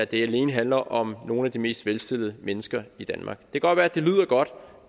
det alene handler om nogle af de mest velstillede mennesker i danmark det kan godt være det lyder godt